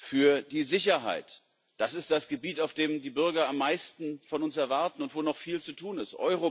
Für die Sicherheit das ist das Gebiet, auf dem die Bürger am meisten von uns erwarten und wo noch viel zu tun ist.